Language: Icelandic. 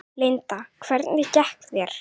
Linda: Hvernig gekk þér?